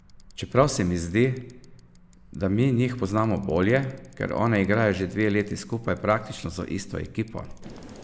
Čeprav se mi zdi, da mi njih poznamo bolje, ker one igrajo že dve leti skupaj praktično z isto ekipo.